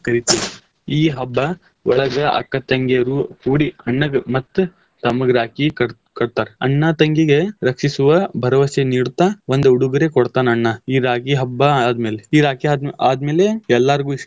ಕರಿತೇವಿ . ಈ ಹಬ್ಬಾ ಒಳಗ್ ಅಕ್ಕ ತಂಗಿರು ಕೂಡಿ ಅಣ್ಣಗ್ ಮತ್ತ್ ತಮ್ಮಗ್ ರಾಖಿ ಕಟ್~ ಕಟ್ಟತಾರ. ಅಣ್ಣಾ ತಂಗಿಗೆ ರಕ್ಷಿಸುವ ಭರವಸೆ ನೀಡ್ತಾ ಒಂದ್ ಉಡುಗೊರೆ ಕೊಡ್ತಾನ್ ಅಣ್ಣಾ ಈ ರಾಖಿ ಹಬ್ಬಾ ಆದ್ಮೇಲೆ, ಈ ರಾಖಿ ಆದ್~ ಆದ್ಮೇಲೆ ಎಲ್ಲಾರ್ಗು ಇಷ್ಟದ.